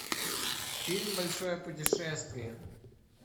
фильм большое путешествие